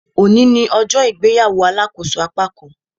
Òní ní ọjọ́ ìgbéyàwó alàkóso apákan